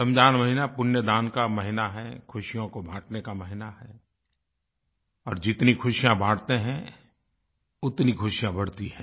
रमज़ान महीना पुण्य दान का महीना है ख़ुशियों को बाँटने का महीना है और जितनी खुशियाँ बाँटते हैं उतनी खुशियाँ बढ़ती हैं